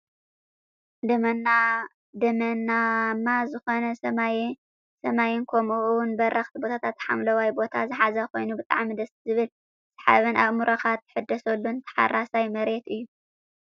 ደመናማ ዝኮነ ሰማይን ከምኡ እውን በረክቲ ቦታትን ሓምለዋይ ቦታ ዝሓዘ ኮይኑ ብጣዕሚ ደስ ዝብልን ስሓብን ኣእምሮካ ተሕድሰሉን ታሓራሳይ መሬት እዩ።